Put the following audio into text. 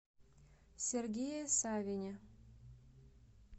сергее савине